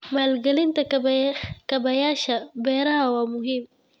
Maalgelinta kaabayaasha beeraha waa muhiim.